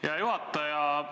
Hea juhataja!